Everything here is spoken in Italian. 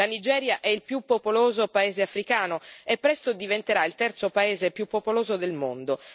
La Nigeria è il più popoloso paese africano e presto diventerà il terzo paese più popoloso del mondo.